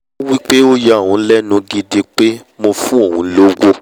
ó wí pé ó ya òun lẹ́nu gidi pé mo fún òun lówó